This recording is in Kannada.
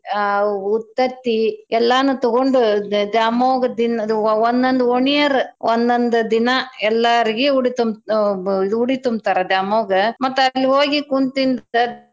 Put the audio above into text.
ಅ ಉತ್ತತ್ತಿ ಎಲ್ಲಾನೂ ತೊಗೊಂಡ ದ್ಯಾಮವ್ಗ ದಿನ~ ವ ವ ವಂದೊಂದ್ ಓಣಿಯರ್ರ ಒಂದೊಂದ್ ದಿನಾ ಎಲ್ಲಾರ್ಗಿ ಉಡಿ ತುಂ~ ಅ ಬ ಉಡಿ ತುಂಬ್ತರಾ ದ್ಯಾಮವ್ಗ ಮತ್ತ ಅಲ್ಲಿ ಹೋಗಿ ಕುಂತಿಂದ.